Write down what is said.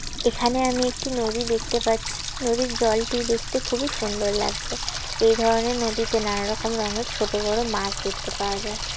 এখানে আমি একটি নদী দেখতে পাচ্ছি নদীর জল টি দেখতে খুবই সুন্দর লাগছে এই ধরনের নদীতে নানা রকম রঙের ছোট বড় মাছ দেখতে পাওয়া যায় ।